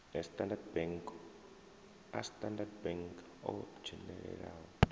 a standard bank o dzhenelelaho